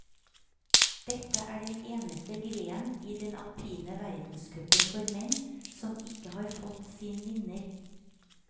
Dette er den eneste grenen i den alpine verdenscupen for menn som ikke har fått sin vinner.